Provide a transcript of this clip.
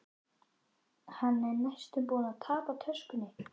Hann er næstum búinn að tapa töskunni.